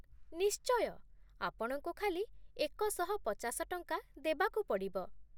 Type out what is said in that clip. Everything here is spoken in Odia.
ନିଶ୍ଚୟ, ଆପଣଙ୍କୁ ଖାଲି ଏକଶହପଚାଶ ଟଙ୍କା ଦେବାକୁ ପଡ଼ିବ ।